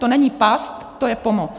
To není past, to je pomoc.